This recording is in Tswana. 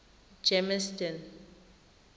germiston